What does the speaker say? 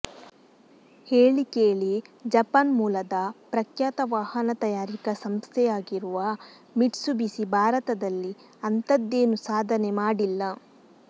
ಹೇಳಿ ಕೇಳಿ ಜಪಾನ್ ಮೂಲದ ಪ್ರಖ್ಯಾತ ವಾಹನ ತಯಾರಿಕ ಸಂಸ್ಥೆಯಾಗಿರುವ ಮಿಟ್ಸುಬಿಸಿ ಭಾರತದಲ್ಲಿ ಅಂತದ್ದೇನು ಸಾಧನೆ ಮಾಡಿಲ್ಲ